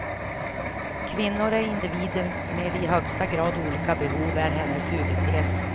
Kvinnor är individer med i högsta grad olika behov, är hennes huvudtes.